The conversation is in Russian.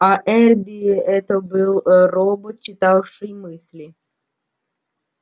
аа эрби это был робот читавший мысли